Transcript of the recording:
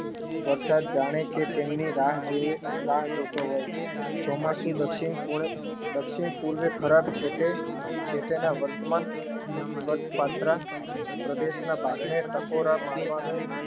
વરસાદ જાણે કે તેમની રાહ જોવે ચોમાસુ દક્ષિણ પૂર્વે ખરાબ છે જે તે ના વર્તમાન વર્ત પાત્ર પ્રદેશના બારણે ટકોર મારવાનો